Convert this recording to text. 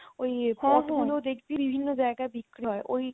ওই pot গুলো দেখবি বিভিন্ন জায়গায় বিক্রি হয়